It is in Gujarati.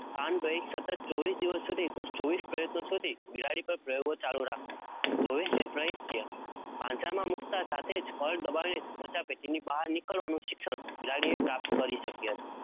સતત ચોવીસ દિવસ સુધી કુલ ચોવીસ પ્રયત્નો સુધી બિલાડી પર પ્રયોગો ચાલુ રાખતા, ચોવીસે પ્રયતે પાંજરામાં મુકતા સાથે જ કળ દબાવીને સમસ્યા પેટીની બહાર નીકળવાનું શિક્ષણ બિલાડીએ પ્રાપ્ત કરી શકી હતી